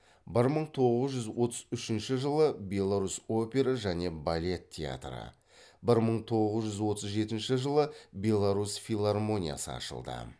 бір мың тоғыз жүз отыз үшінші жылы беларусь опера және балет театры бір мың тоғыз жүз отыз жетінші беларусь филармониясы ашылды